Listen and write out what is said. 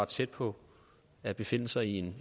tæt på at befinde sig i